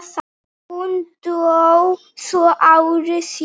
Hún dó svo ári síðar.